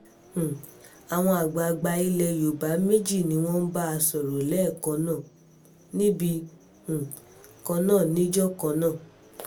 um àwọn àgbààgbà ilẹ̀ yorùbá méjì ni wọ́n bá a sọ̀rọ̀ lẹ́ẹ̀kan náà níbì um kan náà níjọ kan náà